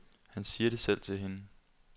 Han siger det selv til hende.